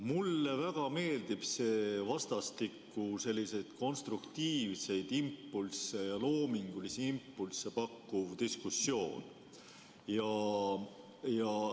Mulle väga meeldib see vastastikku konstruktiivseid ja loomingulisi impulsse pakkuv diskussioon.